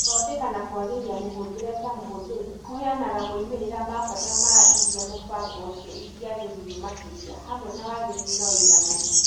Gũthondeka na kũagĩria mũhũthĩrĩre ta mũhũthĩri kũheanaga moimĩrĩra ma bata ma ĩrĩa mũbango ũcio ĩngĩagĩrio makĩria hamwe na wagĩrĩru na ũigananu.